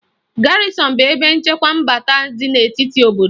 Garịzịn bụ ebe nchekwa mbata dị n'etiti na obodo